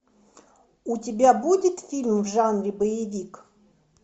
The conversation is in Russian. у тебя будет фильм в жанре боевик